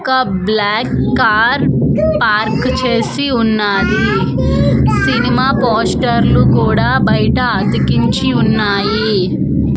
ఒక black car park చేసి ఉన్నాది సినిమా పోస్టర్లు లు కూడా బైట అతికించి ఉన్నాయి.